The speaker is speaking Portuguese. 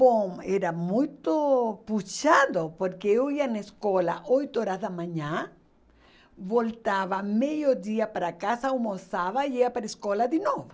Bom, era muito puxado, porque eu ia na escola oito horas da manhã, voltava meio dia para casa, almoçava e ia para a escola de novo.